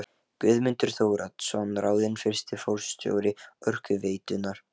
Guðmundur Þóroddsson ráðinn fyrsti forstjóri Orkuveitunnar.